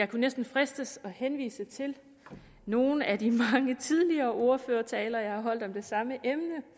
kunne næsten fristes at henvise til nogle af de mange tidligere ordførertaler jeg har holdt om det samme emne